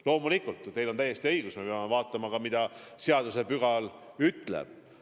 Loomulikult, teil on täiesti õigus, me peame vaatama ka, mida seadusetäht ütleb.